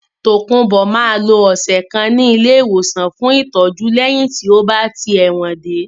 Tokunbo máa lo ọ̀sẹ̀ kan ní ilé ìwòsàn fún ìtọ́jú lẹ́yìn tí ó bá tí ẹ̀wọ̀n dé.